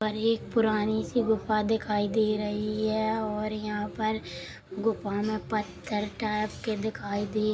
और एक पुरानी सी गुंफा दिखाई दे रही है और यहाँ पर गुंफा में पत्थर टाइप के दिखाए दे--